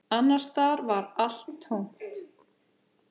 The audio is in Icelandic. Annars staðar var allt tómt.